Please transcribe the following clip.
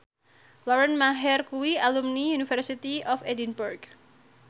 Lauren Maher kuwi alumni University of Edinburgh